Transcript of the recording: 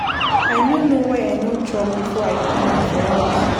I no know why I no chop before I comot for house.